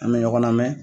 An bɛ ɲɔgɔn lamɛn